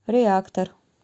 реактор